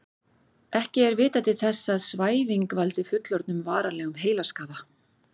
Ekki er vitað til þess að svæfing valdi fullorðnum varanlegum heilaskaða.